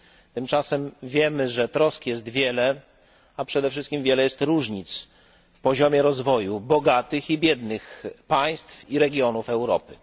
Tymczasem wiemy, że trosk jest wiele, a przede wszystkim wiele jest różnic w poziomie rozwoju bogatych i biednych państw i regionów Europy.